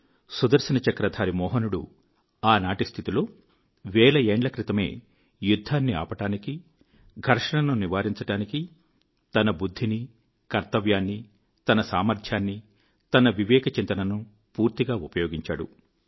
సుదర్శన చక్రధారి మోహనుడు ఆనాటి స్థితిలో వేల ఏండ్ల క్రితమే యుద్ధాన్ని ఆపడానికి ఘర్షణను నివారించడానికి తన బుద్ధిని కర్తవ్యాన్ని తన సామర్థ్యాన్ని తన వివేక చింతనను పూర్తిగా ఉపయోగించాడు